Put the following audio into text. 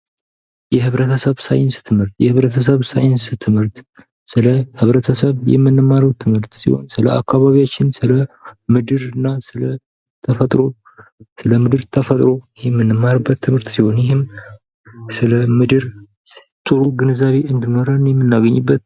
የህብረተሰብ ሳይንስ ትምህርት፤ የህብረተሰብ ሳይንስ ትምህርት ስለ ህብረተሰብ የምንማረው ትምህርት ሲሆን ስለ አካባቢያችን፣ ስለምድር፣ ስለተፈጥሮ፣ ስለሰው ልጅ ተፈጥሮ የምንማርበት ትምህርት ሲሆን ይህም ስለምድር ጥሩ ግንዛቤ እንዲኖር የምናገኝበት